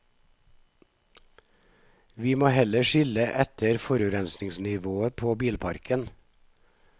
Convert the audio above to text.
Vi må heller skille etter forurensningsnivået på bilparken.